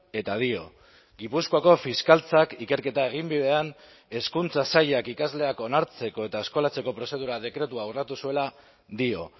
eta dio gipuzkoako fiskaltzak ikerketa eginbidean hezkuntza sailak ikasleak onartzeko eta eskolatzeko prozedura dekretua urratu zuela dio